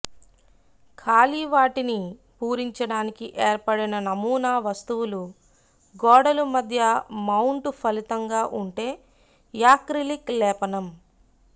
ఖాళీ వాటిని పూరించడానికి ఏర్పడిన నమూనా వస్తువులు గోడలు మధ్య మౌంటు ఫలితంగా ఉంటే యాక్రిలిక్ లేపనం